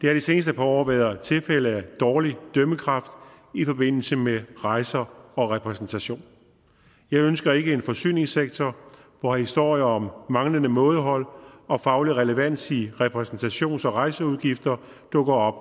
har de seneste par år været tilfælde af dårlig dømmekraft i forbindelse med rejser og repræsentation jeg ønsker ikke en forsyningssektor hvor historier om manglende mådehold og faglig relevans i repræsentations og rejseudgifter dukker op